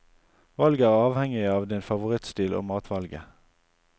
Valget er avhengig av din favorittstil og matvalget.